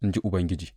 in ji Ubangiji.